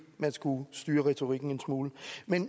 man skulle styre retorikken en smule